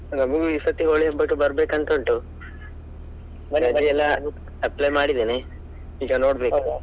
ನಮ್ಗು ಈಸರ್ತಿ ಹೋಳಿ ಹಬ್ಬಕ್ಕೆ ಬರ್ಬೇಕು ಅಂತ ಉಂಟು, ರಜೆಯೆಲ್ಲ apply ಮಾಡಿದೇನೆ ಈಗ ನೋಡ್ಬೇಕು.